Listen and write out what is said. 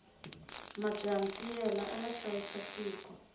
majaha ntiyela aya hlayisa tiko